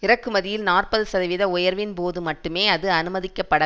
இறக்குமதியில் நாற்பது சதவீத உயர்வின் போது மட்டுமே அது அனுமதிக்கப்பட